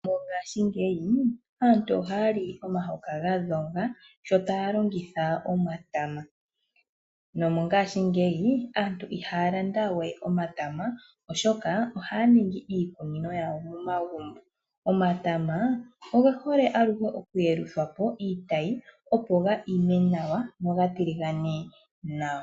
Mongaashingeyi aantu ohaya li omahoka ga dhoga sho taya longitha omatama nomongaashingeyi aantu ihaya lande we omatama oshoka ohaya ningi iikunino yawo momagumbo. Omatama oge hole aluhe okuyeluthwapo iitayi opo ga ime nawa noga tiligane nawa.